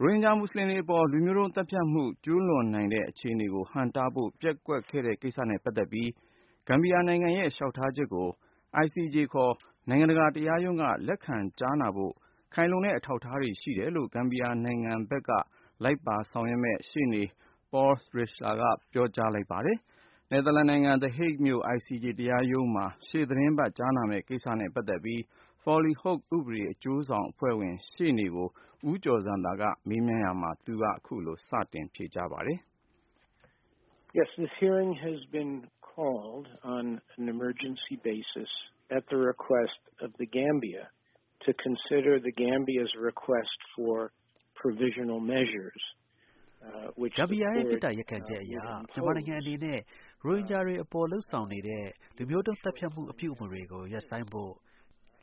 ရိုဟင်ဂျာ မူဆလင်တွေအပေါ် လူမျိုးတုံးသတ်ဖြတ်မှု ကျူးလွန်နိုင်တဲ့အခြေအနေကို ဟန့်တားဖို့ ပျက်ကွက်ခဲ့တဲ့ကိစ္စနဲ့ပတ်သက်ပြီး ဂမ်ဘီယာနိုင်ငံရဲ့ လျှောက်ထားချက်ကို ICJ ခေါ် နိုင်ငံတကာ တရားရုံးက လက်ခံကြားနာဖို့ ခိုင်လုံတဲ့အထောက်အထားတွေ ရှိတယ်လို့ ဂမ်ဘီယာနိုင်ငံဘက်က လိုက်ပါဆောင်ရွက်မယ့် ရှေ့နေ Paul Reichler ကပြောကြားလိုက်ပါတယ်။ နယ်သာလန်နိုင်ငံ The Hague မြို့ ICJ တရားရုံးမှာ ရှေ့သီတင်းပတ် ကြားနာမယ့်ကိစ္စနဲ့ ပတ်သက်ပြီး Foley Hoag ဥပဒေအကျိုးဆောင်အဖွဲ့ဝင် ရှေ့နေ Paul Reichler ကို ဦးကျော်ဇံသာက မေးမြန်းရာမှာ သူက အခုလို စပြောပါတယ်။ ဂမ်ဘီယာရဲ့ မေတ္တာရပ်ခံချက်အရ မြန်မာနိုင်ငံအနေနဲ့ ရိုဟင်ဂျာတွေအပေါ် လုပ်ဆောင်နေတဲ့ လူမျိုးတုံးသတ်ဖြတ်မှု အပြုအမှုတွေကို ရပ်ဖို့ ၊